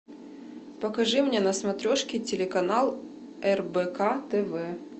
покажи мне на смотрешке телеканал рбк тв